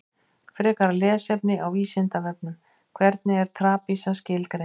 Frekara lesefni á Vísindavefnum: Hvernig er trapisa skilgreind?